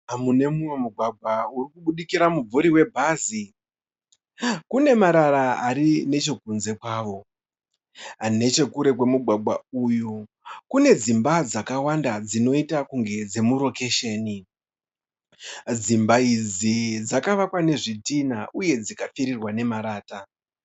Mugwagwa urikubudikira muvuri we bhazi. Kunemarara arinechekunze kwawo, Nechekure kwemugwagwa uyu kune dzimba dzakakwanda dzakayita senge dzekurokhecheni. Dzimba idzi dzakavakwa nezvitina uye zvikapfurirwa nemarata.